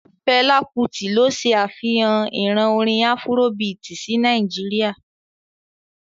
Fela Kuti ló se afihan ìran orin afurobiiti sí Nàìjíríà.